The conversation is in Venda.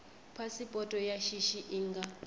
phasipoto ya shishi i nga